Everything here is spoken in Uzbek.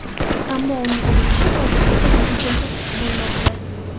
Ammo uning urinishi hozirgacha natijasiz bo‘lmoqda.